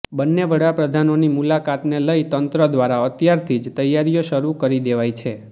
બંને વડાપ્રધાનોની મુલાકાતને લઇ તંત્ર દ્વારા અત્યારથી જ તૈયારીઓ શરૂ કરી દેવાઇ છે